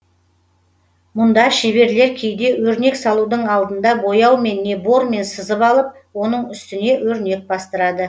мұнда шеберлер кейде өрнек салудың алдында бояумен не бормен сызып алып оның үстіне өрнек бастырады